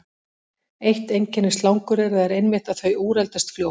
Eitt einkenni slanguryrða er einmitt að þau úreldast fljótt.